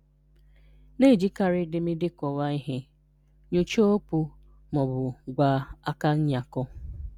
Na-ejíkàrị́ édémedé kọ̀wàà ihè, nyòchàà okwù ma ọ̀bụ̀ gwà àkànyàkọ̀